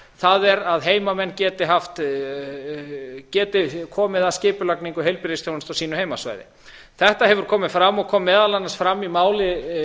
það er að heimamenn geti komið að skipulagningu heilbrigðisþjónustu á sínu heimasvæði þetta hefur komið fram og kom meðal annars fram í